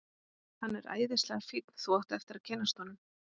Hann er æðislega fínn. þú átt eftir að kynnast honum.